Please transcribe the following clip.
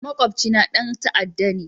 Makwabcina ɗan ta'adda ne